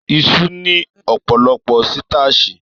Isu ni ọpọlọpọ sitaasi.